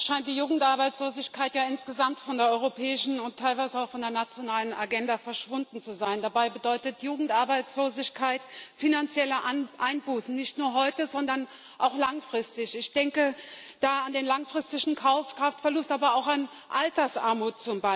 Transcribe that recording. Frau Präsidentin! Leider scheint die Jugendarbeitslosigkeit insgesamt von der europäischen und teilweise auch von der nationalen Agenda verschwunden zu sein. Dabei bedeutet Jugendarbeitslosigkeit finanzielle Einbußen nicht nur heute, sondern auch langfristig. Ich denke da an den langfristigen Kaukraftverlust, aber beispielsweise auch an Altersarmut.